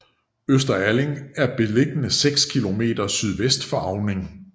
Øster Alling er beliggende seks kilometer sydvest for Auning